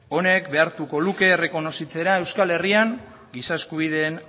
honek behartuko luke errekonozitzea euskal herrian giza eskubideen